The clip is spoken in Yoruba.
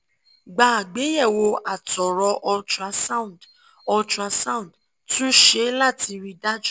gba àgbéyẹ̀wò àtọ̀rọ̀ ultrasound ultrasound tún ṣe láti rí i dájú